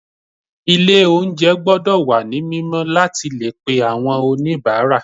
Ilé oúnjẹ gbọ́dọ̀ wà ní mímọ́ láti le pe àwọn oníbàárà.